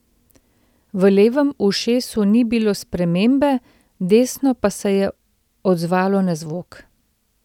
V levem ušesu ni bilo spremembe, desno pa se je odzvalo na zvok.